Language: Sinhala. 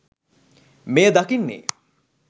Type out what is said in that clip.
මෙය දකින්නේ